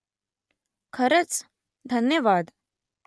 खरंच ? धन्यवाद